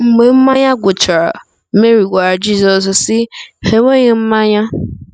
Mgbe mmanya gwụchara, Meri gwara Jizọs, sị: “ Ha enweghị mmanya .”